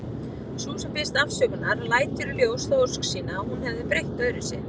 Sú sem biðst afsökunar lætur í ljós þá ósk sína að hún hefði breytt öðruvísi.